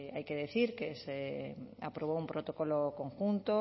hay que decir que se aprobó un protocolo conjunto